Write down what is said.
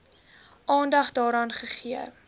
aandag daaraan gegee